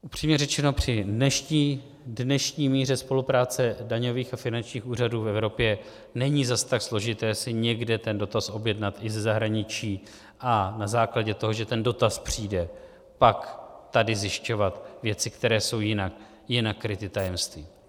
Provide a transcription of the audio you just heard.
Upřímně řečeno, při dnešní míře spolupráce daňových a finančních úřadů v Evropě není zas tak složité si někde ten dotaz objednat i ze zahraničí a na základě toho, že ten dotaz přijde pak tady zjišťovat věci, které jsou jinak kryty tajemstvím.